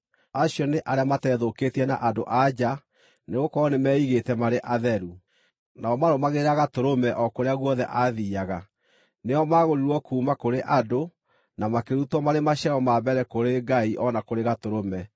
Acio nĩ arĩa mateethũkĩtie na andũ-a-nja, nĩgũkorwo nĩmeigĩte marĩ atheru. Nao maarũmagĩrĩra Gatũrũme o kũrĩa guothe aathiiaga. Nĩo maagũrirwo kuuma kũrĩ andũ, na makĩrutwo marĩ maciaro ma mbere kũrĩ Ngai o na kũrĩ Gatũrũme.